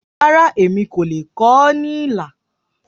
Rárá, èmi kò lè kọ ọ́ ní ilà.